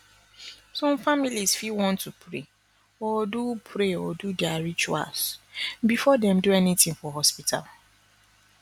some families fit want to pray or do pray or do their rituals before dem do anything for hospital